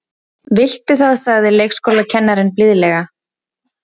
Viltu það sagði leikskólakennarinn blíðlega.